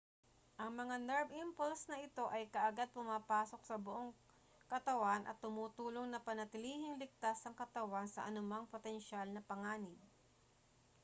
ang mga nerve impulse na ito ay kaagad pumapasok sa buong katawan at tumutulong na panatilihing ligtas ang katawan sa anumang potensyal na panganib